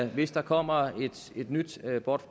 hvis der kommer et nyt